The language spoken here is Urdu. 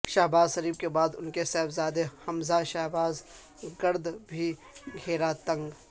شہبازشریف کے بعد ان کے صاحبزادے حمزہ شہباز کے گر د بھی گھیرا تنگ